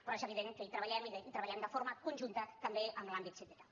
però és evident que hi treballem i treballem de forma conjunta també amb l’àmbit sindical